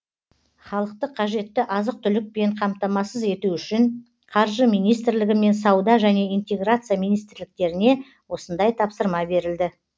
халықты қажетті азық түлікпен қамтамасыз ету үшін қаржы министрлігі мен сауда және интеграция министрліктеріне осындай тапсырма берілді